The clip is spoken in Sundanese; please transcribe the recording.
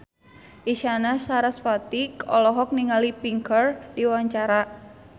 Isyana Sarasvati olohok ningali Pink keur diwawancara